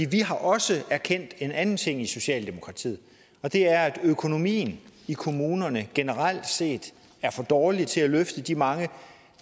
vi har også erkendt en anden ting i socialdemokratiet og det er at økonomien i kommunerne generelt set er for dårlig til at løfte de mange